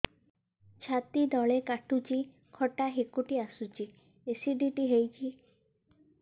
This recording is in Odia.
ଛାତି ତଳେ କାଟୁଚି ଖଟା ହାକୁଟି ଆସୁଚି ଏସିଡିଟି ହେଇଚି